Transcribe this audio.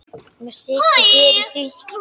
Mér þykir fyrir því.